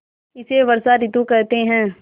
इसे वर्षा ॠतु कहते हैं